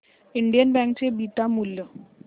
Indian Bank चे beta मूल्य